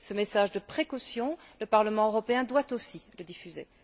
Ce message de précaution, le Parlement européen doit aussi le diffuser.